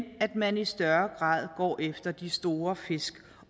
man i større grad går efter de store fisk